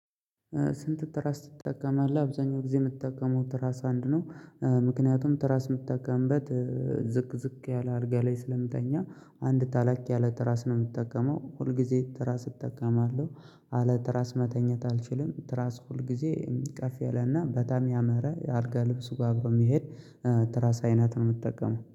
ስንት ትራስ ትጠቀማለህ አብዛኛው ጊዜ የምትጠቀመው ትራስ አንድ ነው? ምክንያቱም ትራስ የምትጠቀምበት ዝቅ ዝቅ ያለ አልጋ ላይ ስለምተኛ። አንድ ተለቅ ያለ ትራስ ነው የምትጠቀመው ሁል ጊዜ ትራስ እጠቀማለሁ። አለ ትራስ መተኘት አልችልም ትራስ ሁል ጊዜ ከፍ የለና በጣም ያመረ የአልጋ ልብሱ ጋር አብሮ የሚሄድ። ትራስ አይነት ነው የምትጠቀመው